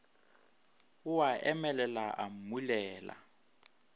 o a emelela o mmulela